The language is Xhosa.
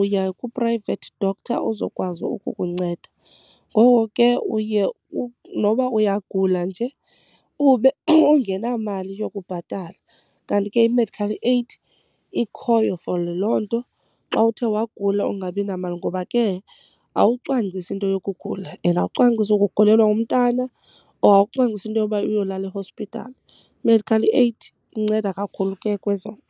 uya ku-private doctor uzokwazi ukukunceda. Ngoko ke uye noba uyagula nje ube ungenamali yokubhatala. Kanti ke i-medical aid ikhoyo for loo nto, xa uthe wagula ungabi namali. Ngoba ke awucwangcisi into yokugula and awucwangcisi ukugulelwa ngumntana or awucwangcisi into yoba uyolala e-hospital. I-medical aid inceda kakhulu ke kwezo nto.